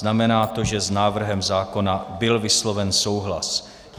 Znamená to, že s návrhem zákona byl vysloven souhlas.